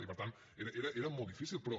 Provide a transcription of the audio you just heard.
i per tant era molt difícil però